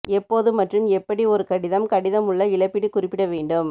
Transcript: எப்போது மற்றும் எப்படி ஒரு கடிதம் கடிதம் உள்ள இழப்பீடு குறிப்பிட வேண்டும்